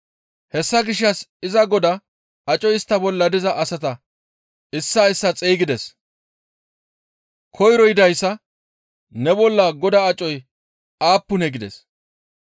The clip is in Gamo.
«Hessa gishshas iza godaa acoy istta bolla diza asata issaa issaa xeygides. Koyro yidayssa, ‹Ne bolla godaa acoy aappunee?› gides.